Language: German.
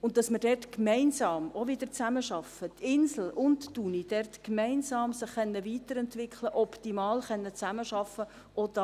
Und dass man auch dort wieder gemeinsam zusammenarbeitet, dass die Insel und die Uni sich dort gemeinsam weiterentwickeln und optimal zusammenarbeiten können: